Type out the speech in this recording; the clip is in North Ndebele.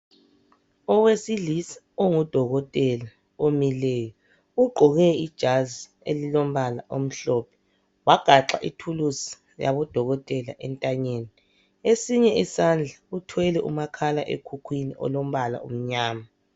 Owesilisa ongudokotela omileyo ugqoke ijazi elilombala omhlophe wagaxa ithulusi yabodokotela entanyeni. Esinye isandla uthwele umakhalekhukhwini olombala omnyama.